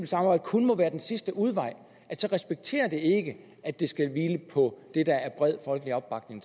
samarbejde kun må være den sidste udvej så respekterer man ikke at det skal hvile på det der er bred folkelig opbakning